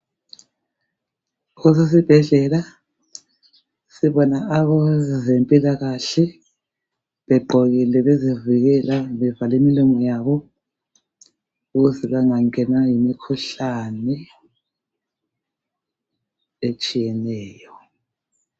Kusesibhedlela, sibona abezempilakahle begqokile. Bezivikela, bevale imillqomo yabo, ukuze bangangenwa yimikhuhlane etshiyeneyo.